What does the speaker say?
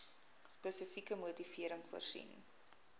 spesifieke motivering voorsien